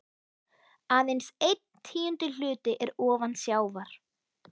Aðeins einn tíundi hluti er ofan sjávar.